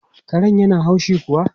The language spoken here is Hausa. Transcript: Karen yana haushi kuwa?